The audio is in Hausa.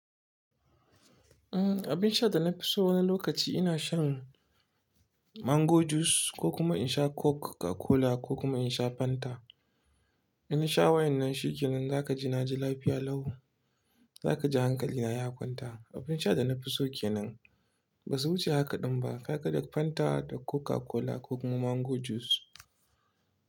Abin shan da na fi so wani lokaci ina shan mango juice ko kuma in sha Coca-Cola ko kuma in sha Fanta. Inna sha wa'yannan shi kenan za ka ji na ji lafiya lau. Za ka ji hankali na ya kwanta. Abin sha da na fi so kenan ba su wuce hakaɗin ba. Kai kaɗai Fanta da Coca-Cola ko kuma mango juice.